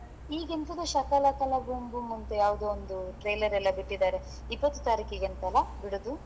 ಈಗೆಂತದ ಶಕಲಕಕಲ boom boom ಅಂತೇ ಯಾವದೊಂದು trailer ಎಲ್ಲ ಬಿಟ್ಟಿದ್ದಾರೆ ಇಪ್ಪತ್ತು ತಾರೀಖಿಗೆ ಅಂತಲ್ಲ ಬಿಡುದು?